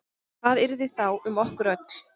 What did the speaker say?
Hvað yrði þá um okkur öll?